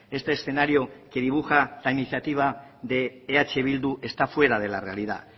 este escenario que dibuja la iniciativa de eh bildu está fuera de la realidad